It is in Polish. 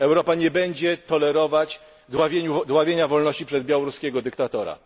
Europa nie będzie tolerować dławienia wolności przez białoruskiego dyktatora.